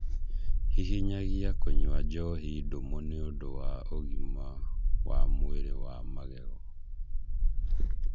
Hihinyagia kũnyua njoohi ndũmũ nĩ ũndũ wa ũgima wa mwĩrĩ wa magego.